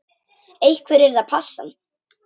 Einhver yrði að passa hann.